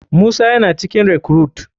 Musa yana cikin recruite.